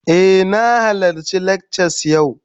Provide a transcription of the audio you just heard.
Eh, na halarci lakcas yau